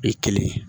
O ye kelen ye